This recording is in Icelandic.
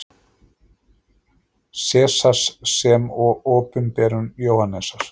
Sesars sem og Opinberun Jóhannesar.